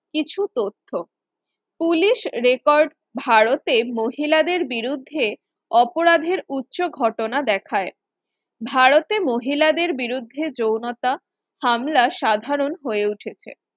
কিছু তথ্য Police Record ভারতে মহিলাদের বিরুদ্ধে অপরাধের উচ্চ ঘটনা দেখায় ভারতের মহিলাদের বিরুদ্ধে যৌনতা হামলা সাধারণ হয়ে উঠেছে